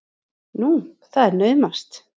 Nú, það er naumast!